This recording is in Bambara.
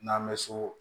N'an bɛ so